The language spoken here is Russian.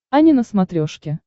ани на смотрешке